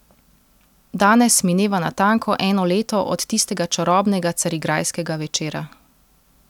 Danes mineva natanko eno leto od tistega čarobnega carigrajskega večera.